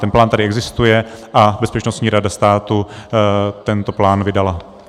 Ten plán tady existuje a Bezpečnostní rada státu tento plán vydala.